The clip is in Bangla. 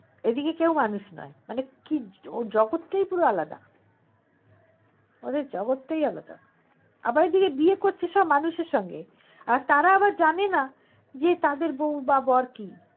এদিকে কেও মানুষ নয় মানে কি জগৎ টাই পুরো আলাদা ওদের জগৎ টাই আলাদা আবার এদিকে বিয়ে করছে সব মানুষের সঙ্গে তারা আবার জানে না যে তাদের বৌ বা বর কি